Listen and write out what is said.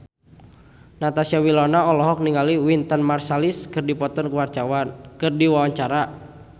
Natasha Wilona olohok ningali Wynton Marsalis keur diwawancara